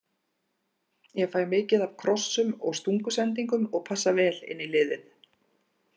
Ég fæ mikið af krossum og stungusendingum og passa vel inn í liðið.